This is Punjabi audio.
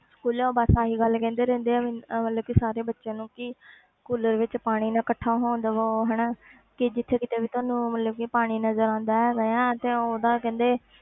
School ਉਹ ਬਸ ਆਹੀ ਗੱਲ ਕਹਿੰਦੇ ਰਹਿੰਦੇ ਆ ਮੈਨੂੰ ਮਤਲਬ ਕਿ ਸਾਰੇ ਬੱਚਿਆਂ ਨੂੰ ਕਿ ਕੂਲਰ ਵਿੱਚ ਪਾਣੀ ਨਾ ਇਕੱਠਾ ਹੋਣ ਦੇਵੋ ਹਨਾ ਕਿ ਜਿੱਥੇ ਕਿਤੇ ਵੀ ਤੁਹਾਨੂੰ ਮਤਲਬ ਕਿ ਪਾਣੀ ਨਜ਼ਰ ਆਉਂਦਾ ਹੈਗਾ ਨਾ ਤੇ ਉਹਦਾ ਕਹਿੰਦੇ